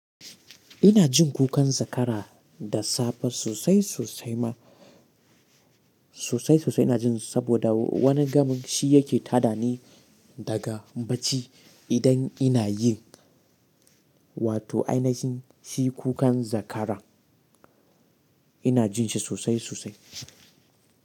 Ina jin kukan zakara da safe sosai sosai ma sosai sosai ina jin saboda wani gamin shi yake ta dani daga bacci idan ina yin wato ainihin shi kukan zakara ina jin shi sosai sosai.